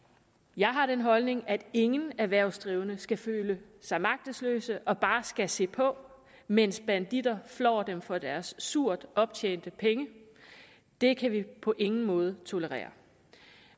jeg har den holdning at ingen erhvervsdrivende skal føle sig magtesløse og bare skal se på mens banditter flår dem for deres surt optjente penge det kan vi på ingen måde tolerere